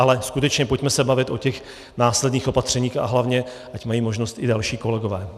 Ale skutečně pojďme se bavit o těch následných opatřeních, a hlavně, ať mají možnost i další kolegové.